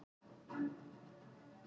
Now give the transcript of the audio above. Kennsla hefst strax í dag.